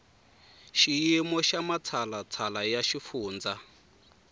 xiyimo xa matshalatshala ya xifundza